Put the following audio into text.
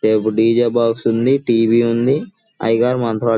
ఇక్కడొక డ్ జ్ బాక్స్ ఉంది టి వి ఉంది --